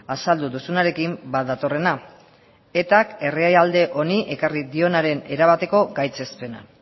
azaldu duzunarekin bat datorrena etak herrialde honi ekarri dionaren erabateko gaitzespena